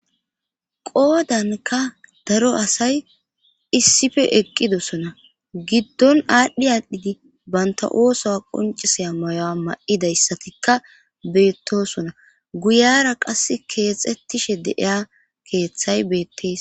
Qoodanka daro asay issife eqqidosona giddon aadhdhi aadhdhidi banta ooso qoncisaya mayoa m'idayssatikka beettosona guyara qass keexxettishe deiya keeththay beettes.